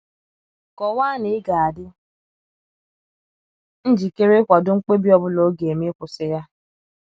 Kọwaa na ịga adi njikere ịkwado mkpebi ọ bụla ọ ga - eme ịkwụsị ya.